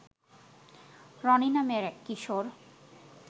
রনি নামের এক কিশোর